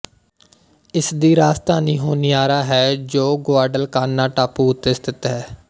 ਇਸਦੀ ਰਾਜਧਾਨੀ ਹੋਨੀਆਰਾ ਹੈ ਜੋ ਗੁਆਡਲਕਾਨਾ ਟਾਪੂ ਉੱਤੇ ਸਥਿਤ ਹੈ